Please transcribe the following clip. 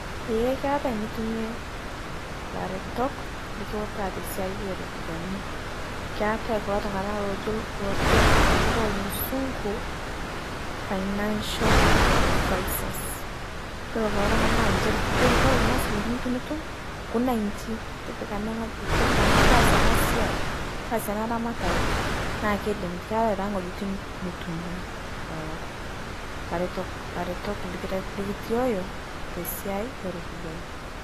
Eeh keatai nitumie laretok likiutaa te siai e ropiani. Keetai kuloo ltung'ana loojo loojo nkutuuk e musunguu financial advisers. Iyeloo kuloo ltung'ana naa ninchee likijooki kore kuna silingini tunutuum nkunai inchii, tipikaa ene ng'ojii , tipikaa ana, taasie ena siai, taasie ena ramatare naa keidiim, keetai taa ng'ojitin nitumie lolo laaretok laaretok likitoiyo te siai e ropiani.